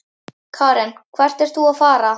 Karen: Hvert ert þú að fara?